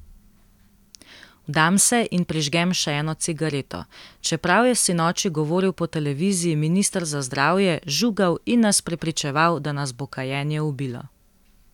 Vdam se in prižgem še eno cigareto, čeprav je sinoči govoril po televiziji minister za zdravje, žugal in nas prepričeval, da nas bo kajenje ubilo.